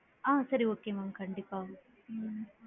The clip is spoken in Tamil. ஆ சரி okay mam கண்டிப்பா